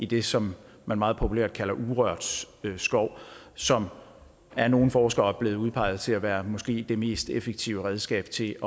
det som man meget populært kalder urørt skov som af nogle forskere er blevet udpeget til at være det måske mest effektive redskab til